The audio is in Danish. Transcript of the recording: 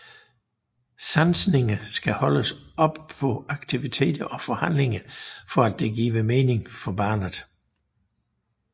Sansninger skal holdes op på aktiviteter og handlinger for at det giver mening for barnet